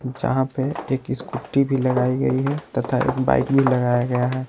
जहां पे एक स्कूटी भी लगाई गई है तथा एक बाइक भी लगाया गया है।